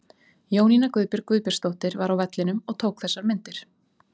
Jónína Guðbjörg Guðbjartsdóttir var á vellinum og tók þessar myndir.